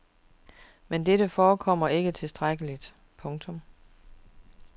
Men dette forekommer ikke tilstrækkeligt. punktum